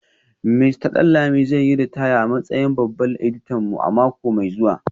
Mista Danlami zai yi ritaya a matsayin babban editan mu a mako mai zuwa